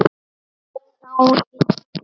Þá innti